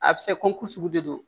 A bɛ se kɔnku de don